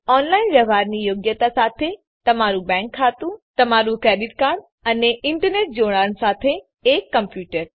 online વ્યવહારની યોગ્યતા સાથે તમારું બેંક ખાતું તમારું ક્રેડીટ કાર્ડ અને ઇન્ટરનેટ જોડાણ સાથે એક કોમપ્યુટર